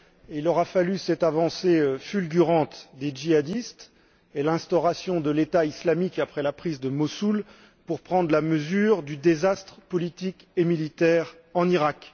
Il aura fallu cette avancée fulgurante des djihadistes et l'instauration de l'État islamique après la prise de Mossoul, pour prendre la mesure du désastre politique et militaire en Iraq.